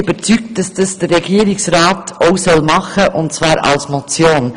Wir sind überzeugt, dass der Regierungsrat dies tun muss, und befürworten deshalb die Motion.